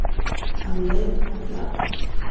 Hann leit á blaðið.